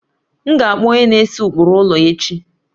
M ga akpọ onye na-ese ụkpụrụ ụlọ echi